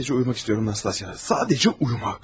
Sadəcə uyumaq istəyirəm Nastasya, sadəcə uyumaq.